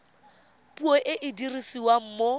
puo e e dirisiwang mo